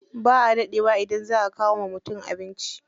Ba a daɗe wa idan za a kawo wa mutum abinci.